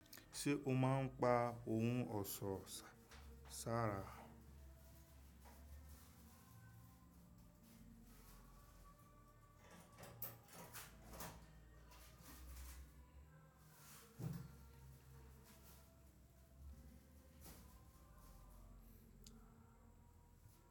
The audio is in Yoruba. Ṣé o máa ń pa ohun ọ̀ṣọ́ ṣàrà?